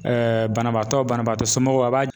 banabaatɔ banabaatɔ somɔgɔw a b'a